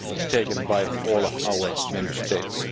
taken by all our Member States.